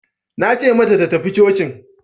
Nace mata ta tafi cocin